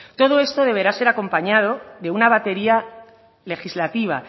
todo esto deberá ser acompañado de una batería legislativa